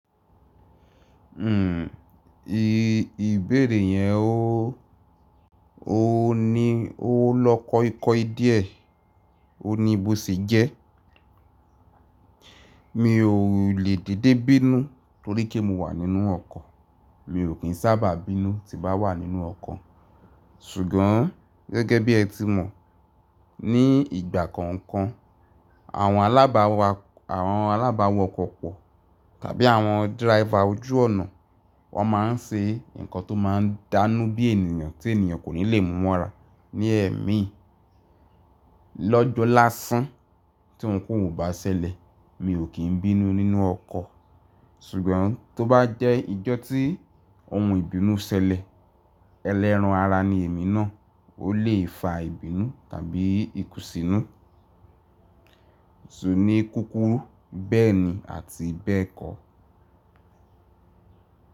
I-ìbéèrè yẹn ó, ó ni ó lọ kọ́kọ́ díẹ̀. Ó ní bó ṣe jẹ́. Mi ò lè dédé bínú torí pé mo wà nínú ọkọ̀. Mi ò kín sábà bínú tí n bá wà nínú ọkọ̀. Ṣùgbọ́n gẹ́gẹ́ bí ẹ ti mọ̀, ní ìgbà kọ̀ọ̀kan, àwọn alábàwá, àwọn alábàwá ọkọ̀ pọ̀ tàbí àwọn driver ojú ọ̀nà, wọ́n máa ń ṣe nǹkan tó máa ń dánú bí ènìyàn tí ènìyàn kò ní lè múmara ní ẹ̀ mí. Lọ́jọ́ lásán tí ohun-ko-hun ò bá ṣẹlẹ̀, mi ò kín bínú nínú ọkọ̀. Ṣùgbọ́n tó bá jẹ́ ìjọ́ tí ohun ìbínú ṣẹlẹ̀, ẹlẹ́ran ara ni èmi náà ó lè fa ìbínú tàbí ikùnsínú, so, ní kúkúrú, bẹ́ẹ̀ni àti bẹ́ẹ̀ kọ.